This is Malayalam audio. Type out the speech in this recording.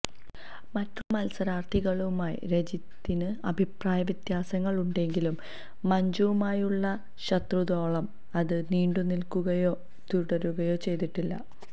മറ്റുള്ള മത്സരാര്ത്ഥികളുമായും രജിത്തിന് അഭിപ്രായ വ്യത്യാസങ്ങള് ഉണ്ടെങ്കിലും മഞ്ജുവുമായുള്ള ശത്രുതയോളം അത് നീണ്ടുനില്ക്കുകയോ തുടരുകയോ ചെയ്തിട്ടില്ല